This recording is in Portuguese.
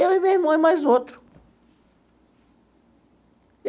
Eu e meu irmão e mais outro.